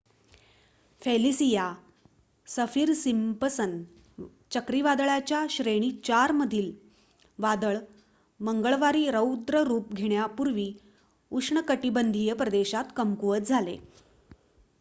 Felicia Saffir Simpson चक्रीवादळाच्या श्रेणी 4 मधील वादळ मंगळवारी रौद्ररूप घेण्यापूर्वी उष्णकटिबंधीय प्रदेशात कमकुवत झाले